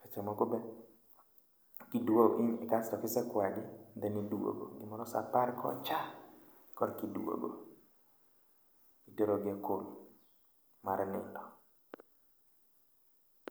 Seche moko be okiduogi ni kasto kise kwagi, then iduogo, gimoro sa aparo kocha. Korki duogo, iterogi e kul mar nindo.